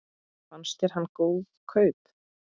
Fannst þér hann góð kaup?